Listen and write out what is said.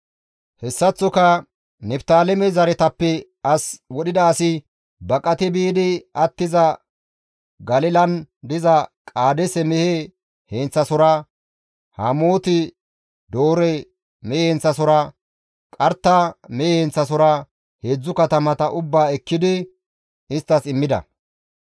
Hessaththoka Niftaaleme zaretappe as wodhida asi baqati biidi attiza Galilan diza Qaadeese mehe heenththasohora, Hamooti-Doore mehe heenththasohora, Qarta mehe heenththasohora, 3 katamata ubbaa ekkidi isttas immida.